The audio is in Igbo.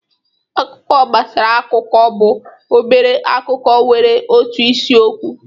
Akụkọ gbasara akụkọ bụ obere akụkọ nwere otu isi okwu